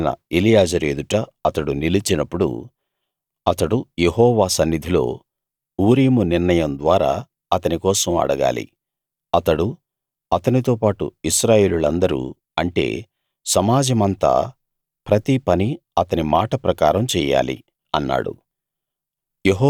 యాజకుడైన ఎలియాజరు ఎదుట అతడు నిలిచినప్పుడు అతడు యెహోవా సన్నిధిలో ఊరీము నిర్ణయం ద్వారా అతని కోసం అడగాలి అతడు అతనితోపాటు ఇశ్రాయేలీయులందరూ అంటే సమాజమంతా ప్రతి పని అతని మాట ప్రకారం చెయ్యాలి అన్నాడు